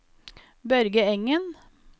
Børge Engen